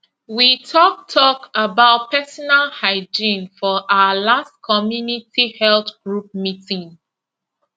we talk talk about personal hygiene for our last community health group meeting